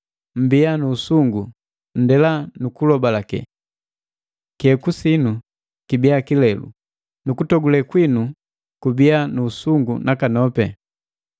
Mmbiya nu usungu, nndela nu kulobalake; kiheku sinu kibiya kilelu; nu kutogule kwinu kubiya nu usungu nakanopi.